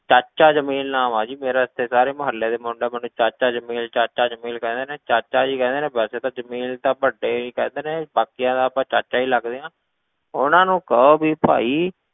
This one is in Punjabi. ਚਾਚਾ ਜਮੇਲ ਨਾਮ ਹੈ ਜੀ ਮੇਰਾ, ਇੱਥੇ ਸਾਰੇ ਮੁਹੱਲੇ ਦੇ ਮੁੰਡੇ ਮੈਨੂੰ ਚਾਚਾ ਜਮੇਲ ਚਾਚਾ ਜਮੇਲ ਕਹਿੰਦੇ ਨੇ ਚਾਚਾ ਜੀ ਕਹਿੰਦੇ ਨੇ ਵੈਸੇ ਤਾਂ ਜਮੇਲ ਤਾਂ ਵੱਡੇ ਹੀ ਕਹਿੰਦੇ ਨੇ ਬਾਕੀਆਂ ਦਾ ਆਪਾਂ ਚਾਚਾ ਹੀ ਲੱਗਦੇ ਹਾਂ, ਉਹਨਾਂ ਨੂੰ ਕਹੋ ਵੀ ਭਾਈ,